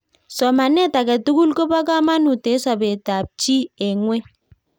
somanetab age tugul koba kamanuut eng sobetab chii eng ngweny